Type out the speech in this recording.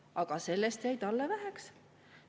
Aga sellest jäi talle väheks.